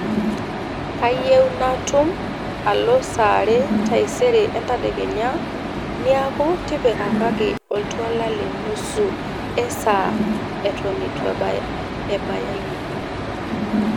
kayieu naatum alo saa are taisere entadekenya niaku tipikakaki oltuala le nusu ee saa eton itu ebaya ine